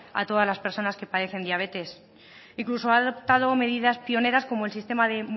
a todas las persona que padecen diabetes incluso ha adoptado medidas pioneras como el sistema de